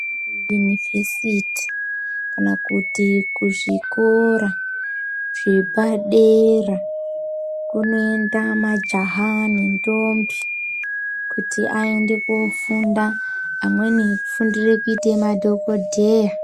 Kuunivhesiti kana kuti kuzvikora zvepadera kunoenda majaha nendombi kuti aende kofunda amweni afundiire kuita dhokodheya.